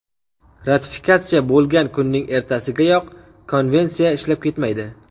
Ratifikatsiya bo‘lgan kunning ertasigayoq konvensiya ishlab ketmaydi.